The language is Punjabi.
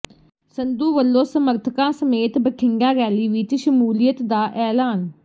ਸੰਧੂ ਵੱਲੋਂ ਸਮਰਥਕਾਂ ਸਮੇਤ ਬਠਿੰਡਾ ਰੈਲੀ ਵਿੱਚ ਸ਼ਮੂਲੀਅਤ ਦਾ ਐਲਾਨ